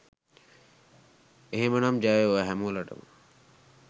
එහෙමනම් ජය වේවා හැමෝමලට!